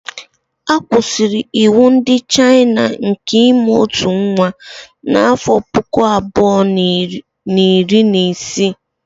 A kwụsịrị iwu ndị Chayịna nke ịmụ ọtụ nwa n'afọ puku abụọ na iri na isii